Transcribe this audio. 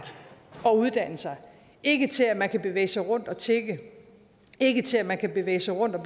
og uddanne sig ikke til at man kan bevæge sig rundt og tigge ikke til at man kan bevæge sig rundt og